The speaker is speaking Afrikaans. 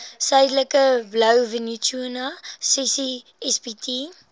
suidelike blouvintuna ccsbt